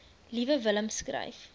liewe willem skryf